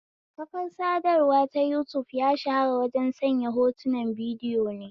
Kafar sadarwa ta yutub ya shahara wajen sanya hotun bidiyo ne